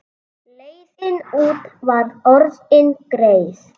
Leiðin út var orðin greið.